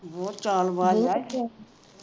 ਬਹੁਤ ਚਾਲਬਾਜ ਆ